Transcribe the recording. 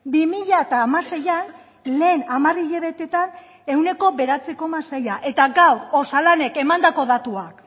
bi mila hamaseian lehen hamar hilabetetan ehuneko bederatzi koma seia eta gaur osalanek emandako datuak